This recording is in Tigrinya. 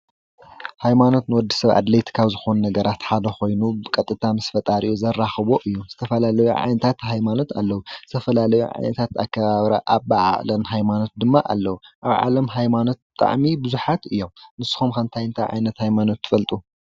ሃይማኖት ንወዲሰብ ኣድለይቲ ካብ ዝኮኑ ነገራት ሓደ ኮይኑ ቀጥታ ምስ ፈጣሪ ዘራክቦ እዩ። ዝተፈላለዩ ዓይነታት ሃይማኖት ኣለዉ። ዝተፈላለዩ ዓይነታት ኣከባብራን ኣበዓዕላን ሃይማኖአት ድማ ኣለዉ። ኣብ ዓለም ሃይማኖት ብጣዕሚ ቡዙሓት እዮም። ንስካትኩም ከ እንታይ እንታይ ዓይነት ሃይማኖት ትፈልጡ ?